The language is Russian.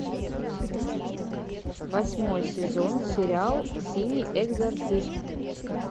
восьмой сезон сериал синий экзорцист